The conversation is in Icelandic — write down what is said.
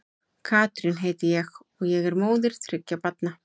Katrín heiti ég og og er móðir þriggja barna.